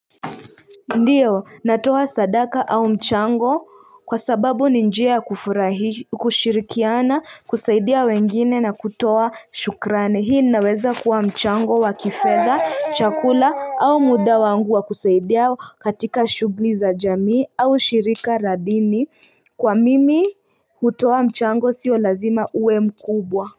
Ndiyo natoa sadaka au mchango kwa sababu ni njia kufurahi, kushirikiana, kusaidia wengine na kutoa shukrani. Hii naweza kuwa mchango wa kifedha, chakula au muda wangu wa kusaidia katika shugli za jamii au shirika la dini kwa mimi kutoa mchango sio lazima uwe mkubwa.